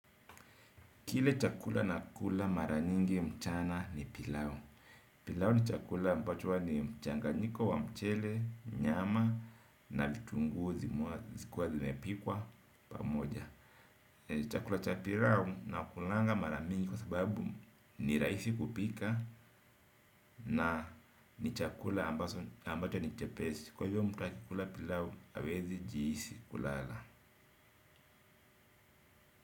Kile chakula nakula mara nyingi mchana ni pilau. Pilau ni chakula ambacho huwa ni mchanganyiko wa mchele, nyama na vitunguu zikiwa zimepikwa pamoja. Chakula cha pilau nakulanga mara mingi kwa sababu ni rahisi kupika na ni chakula ambacho ni chepesi. Kwa hivyo mtu akikula pilau hawezi jihisi kulala.